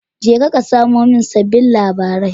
Je ka ka samo min sabbin labarai